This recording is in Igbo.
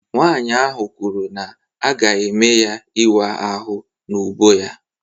Nwanyị ahụ kwuru na a ga-eme ya ịwa ahụ n'úbọ ya